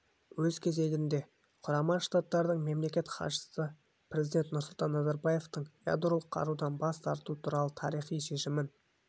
өз кезегінде құрама штаттардың мемлекеттік хатшысы президент нұрсұлтан назарбаевтың ядролық қарудан бас тарту туралы тарихи шешімін